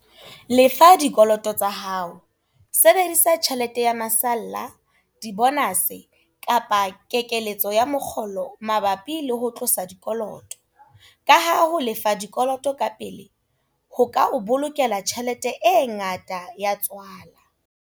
Lefa dikoloto tsa hao, sebedisa tjhelete ya masalla, dibonase kapa ya kekeletso ya mokgolo mabapi le ho tlosa dikoloto, kaha ho lefa dikoloto ka pele ho ka o bolokela tjhelete e ngata ya tswala.